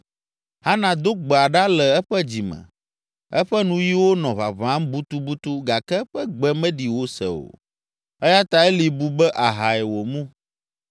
Hana do gbea ɖa le eƒe dzi me, eƒe nuyiwo nɔ ʋaʋãm butubutu gake eƒe gbe meɖi wose o, eya ta Eli bu be ahae wòmu.